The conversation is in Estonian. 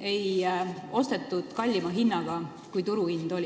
ei ostetud kallima hinnaga kui turuhind?